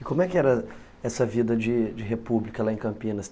E como é que era essa vida de de república lá em Campinas?